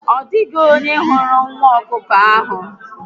Odịghị onye hụrụ nwa ọkụkọ ahụ